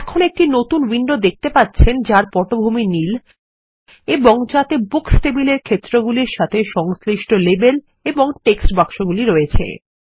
এখন একটি নতুন উইন্ডো দেখতে পাচ্ছেন যার পটভূমি নীল এবং যাতে বুকস টেবিলের ক্ষেত্রগুলির সাথে সংশ্লিষ্ট লেবেল এবং টেক্সটবাক্সগুলিরয়েছে